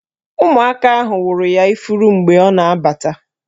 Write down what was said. Ụmụaka ahụ wụrụ ya ifuru mgbe ọ na-abata